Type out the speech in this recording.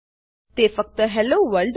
તે ફક્ત hello world